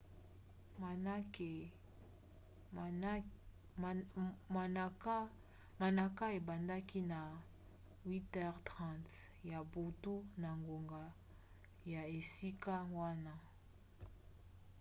manaka ebandaki na 8h30 ya butu na ngonga ya esika wana 15.00 utc